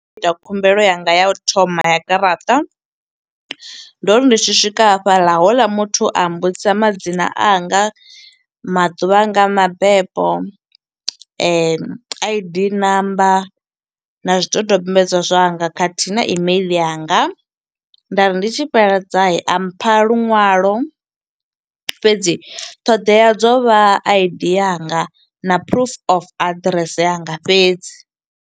Ita khumbelo yanga ya u thoma ya garaṱa, ndo ri ndi tshi swika hafhaḽa houḽa muthu a mbudzisa madzina anga, maḓuvha anga a mabebo, I_D number, na zwidodombedzwa zwanga khathihi na email yanga. Nda ri ndi tshi fhedza, a mpha luṅwalo fhedzi ṱhoḓea dzo vha I_D yanga na proof of aḓirese yanga fhedzi.